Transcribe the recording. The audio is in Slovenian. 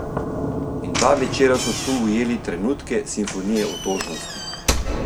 In dva večera so tu ujeli trenutke simfonije otožnosti.